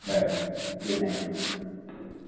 Bye! Good Night